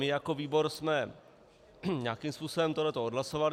My jako výbor jsme nějakým způsobem tohle odhlasovali.